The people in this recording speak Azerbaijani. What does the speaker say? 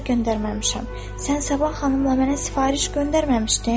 Sən Səba xanımla mənə sifariş göndərməmişdin?"